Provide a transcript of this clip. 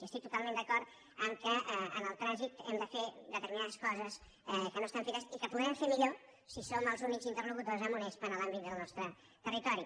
i estic totalment d’acord que en el trànsit hem de fer determinades coses que no estan fetes i que podrem fer millor si som els únics interlocutors amb unespa en l’àmbit del nostre territori